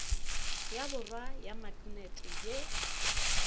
ya borwa ya maknete ye